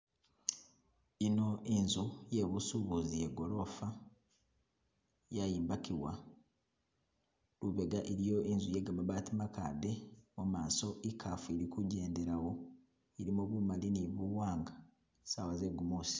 Eno inzu yebusubuzi ye golofa yayimbakiwa, lubega iliyo inzu yegamabaati makade mumaso ikaafu ilikugyendelawo ilimo bumali ni buwanga saawa ze gumusi